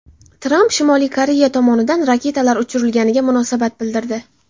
Tramp Shimoliy Koreya tomonidan raketalar uchirilganiga munosabat bildirdi.